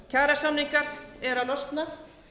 kjarasamningar eru að losna